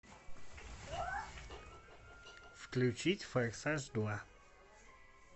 включить форсаж два